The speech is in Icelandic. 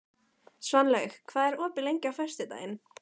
Svanlaug, hvað er opið lengi á föstudaginn?